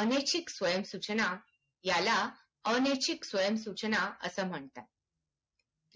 अनैतिक समय सूचना याला अनैतिक सूचना असे म्हणतात